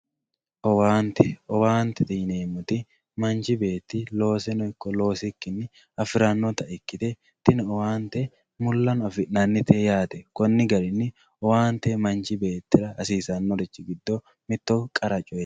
owaante owaantete yineemmowoyiite manchi beetti looseno ikko loosikkinni afirannota ikkite tini owaante mullano afi'nannite yaate konni garinni owaante manchi beettira hasiisannorichi giddo mitto qara coyeeti.